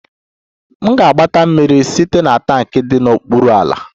M ga-agbata mmiri site na tankị dị n'okpuru ala